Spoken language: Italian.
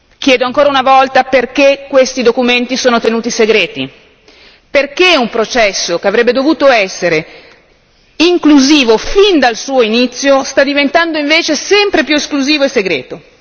Chiedo ancora una volta perché questi documenti sono tenuti segreti e perché un processo, che avrebbe dovuto essere inclusivo fin dal suo inizio, sta diventando invece sempre più esclusivo e segreto.